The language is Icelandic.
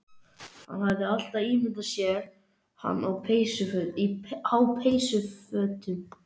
Hann hafði alltaf ímyndað sér hana á peysufötum